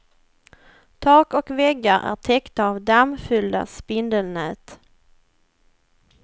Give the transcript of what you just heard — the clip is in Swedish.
Tak och väggar är täckta av dammfyllda spindelnät.